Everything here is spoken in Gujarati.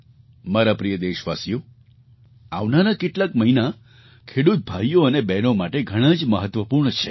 મારા પ્રિય દેશવાસીઓ આવનારા કેટલાક મહિના ખેડૂત ભાઈઓ અને બહેનો માટે ઘણા જ મહત્ત્વપૂર્ણ છે